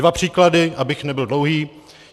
Dva příklady, abych nebyl dlouhý.